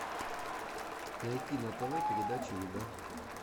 найти на тв передачу еда